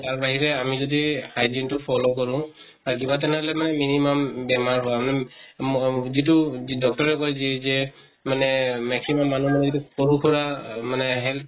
আৰু তাৰ বাহিৰে আমি যদি hygiene তো follow কৰো, তাত কিবা তে মানে minimum বেমাৰ হোৱা ম যিটো, যিটো doctor এ যি যে মানে maximum মানুহ মানে সৰু সুৰা মানে health